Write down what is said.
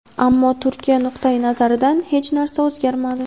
ammo Turkiya nuqtai nazaridan hech narsa o‘zgarmadi.